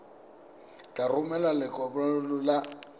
o tla romela lekwalokopo la